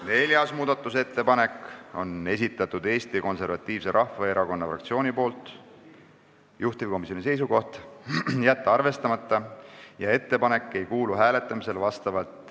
Neljanda muudatusettepaneku on esitanud Eesti Konservatiivse Rahvaerakonna fraktsioon, juhtivkomisjoni seisukoht on jätta arvestamata.